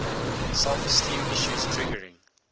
self esteem issues triggering